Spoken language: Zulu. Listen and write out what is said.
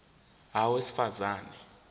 a owesifaz ane